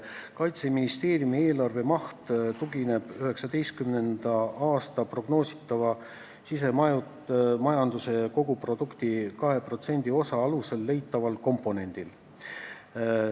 Kaitseministeeriumi eelarve maht tugineb 2019. aasta prognoositavast sisemajanduse koguproduktist 2% suuruse osa alusel leitaval komponendil.